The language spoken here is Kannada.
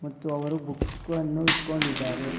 ಮತ್ತು ಅವರು ಬುಕ್ಕು ಅನ್ನು ಇಕ್ಕೊಂಡಿದಾರೆ.